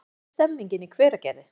Hvernig er stemningin í Hveragerði?